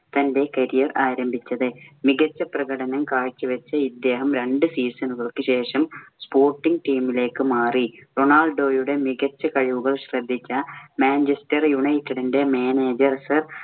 തന്‍റെ career ആരംഭിച്ചത്. മികച്ച പ്രകടനം കാഴ്ചവെച്ച് ഇദ്ദേഹം രണ്ട് season കള്‍ക്ക് ശേഷം sporting team ഇലേക്ക് മാറി. റൊണാൾഡോയുടെ മികച്ച കഴിവുകൾ ശ്രദ്ധിച്ച മാഞ്ചസ്റ്റർ യുണൈറ്റഡിന്‍റെ manager ക്ക്